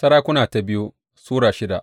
biyu Tarihi Sura shida